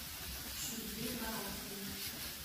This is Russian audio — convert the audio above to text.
сергее боровкове